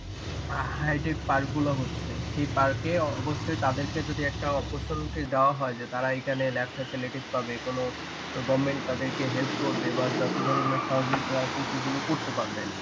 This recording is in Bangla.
hightech park গুলো হচ্ছে সেই park এ অবশ্যই তাদেরকে যদি একটা opportunities দেওয়া হয় যে তারা এখানে lab facilities পাবে কোনো goverment তাদেরকে help করবে বা যত ধরণের সহযোগিতা আছে সেগুলো করতে পারবে